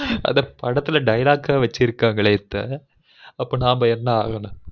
அட ஆனா படத்துல dialogue வைச்சுருகங்கலெ sir அப்ப நாம என்ன ஆரது